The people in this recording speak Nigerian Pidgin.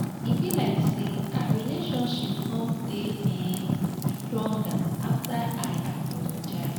e be like say our relationship come dey um stronger after i apologize